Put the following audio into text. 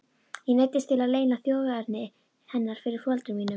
Ég neyddist til að leyna þjóðerni hennar fyrir foreldrum mínum.